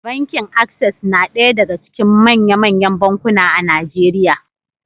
Bankin Access na ɗaya daga cikin manya-manyan bankuna a Najeriya.